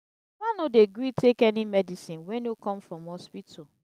my papa no dey gree take any medicine wey no come from hospital.